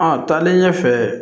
A taalen ɲɛfɛ